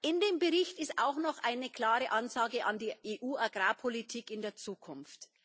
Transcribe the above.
In dem Bericht ist auch noch eine klare Ansage an die EU Agrarpolitik in der Zukunft.